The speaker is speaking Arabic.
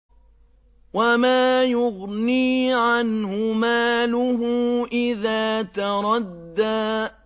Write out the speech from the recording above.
وَمَا يُغْنِي عَنْهُ مَالُهُ إِذَا تَرَدَّىٰ